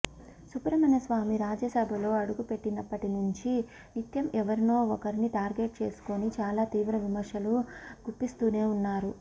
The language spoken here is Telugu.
సుబ్రహ్మణ్య స్వామి రాజ్యసభలో అడుగుపెట్టినప్పటి నుంచి నిత్యం ఎవరినో ఒకరిని టార్గెట్ చేసుకొని చాలా తీవ్ర విమర్శలు గుప్పిస్తూనే ఉన్నారు